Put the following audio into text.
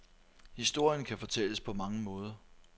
Historien kan fortælles på mange måder.